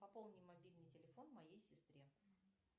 пополни мобильный телефон моей сестре